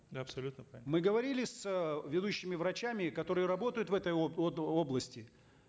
абсолютно мы говорили с ведущими врачами которые работают в этой области